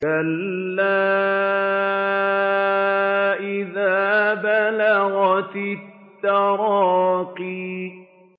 كَلَّا إِذَا بَلَغَتِ التَّرَاقِيَ